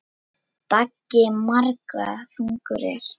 Baggi margra þungur er.